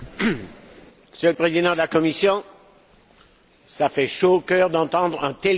Monsieur le Président de la Commission, cela fait chaud au cœur d'entendre un tel discours.